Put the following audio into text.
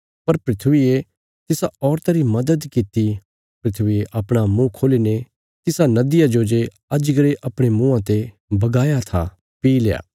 पर धरतिये तिसा औरता री मद्‌द कित्ती धरतिये अपणा मुँह खोल्ली ने तिसा नदिया जो जे अजगरे अपणे मुँआं ते बगाया था पी ल्या